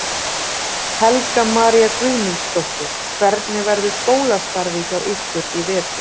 Helga María Guðmundsdóttir: Hvernig verður skólastarfið hjá ykkur í vetur?